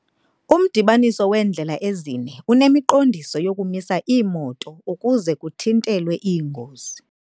Umdibaniso weendlela ezine unemiqondiso yokumisa iimoto ukuze kuthintelwe iingozi.